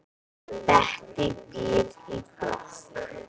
Bettý býr í blokk.